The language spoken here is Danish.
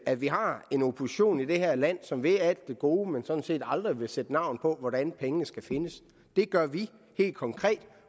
at vi har en opposition i det her land som vil alt det gode men sådan set aldrig vil sætte navn på hvordan pengene skal findes det gør vi helt konkret